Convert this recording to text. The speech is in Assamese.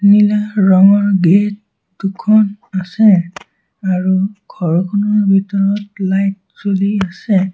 নীলা ৰঙৰ গেট দুখন আছে আৰু ঘৰটোৰ ভিতৰত লাইট জ্বলি আছে।